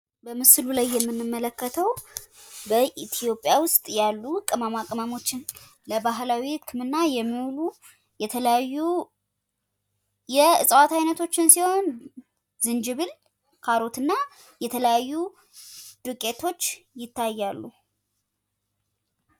በምስሉ ላይ የምንመለከተው በኢትዮጵያ ውስጥ ያሉ ቅመማ ቅመሞችን ለባህላዊ ህክምና የሚውሉ የተለያዩ የዕፅዋት አይነቶችን ሲሆን ዝንጅብል ፣ካሮትና የተለያዩ ዱቄቶች ይታያሉ።